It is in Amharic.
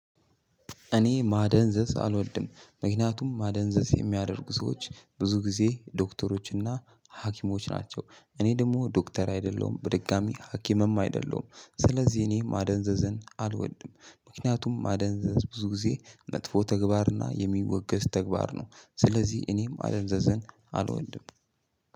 እኔ ማደንዘዝ አልወልድም ምክንያቱም ማደንዘዝ የሚያደርጉ ሰዎች ብዙ ጊዜ ዶክተሮችና ሀኪሞች ናቸው እኔ ደግሞ ዶክተር አይደለሁም በድጋሚ ሀኪምም አይደለሁም። ስለዚህ እኔ ማደንዘዘን አልወድም ምክንያቱም ማደንዘዝ ብዙ ጊዜ መጥፎ ተግባርና የሚወገዝ ተግባር ነው። ስለዚህ እኔም ማደንዘዝን አልወልድም።